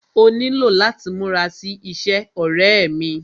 Ó nílò láti múra sí iṣẹ́, ọ̀rẹ́ ẹ́ mí.